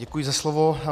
Děkuji za slovo.